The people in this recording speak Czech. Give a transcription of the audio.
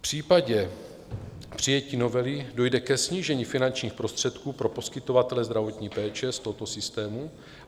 V případě přijetí novely dojde k snížení finančních prostředků pro poskytovatele zdravotní péče z tohoto systému.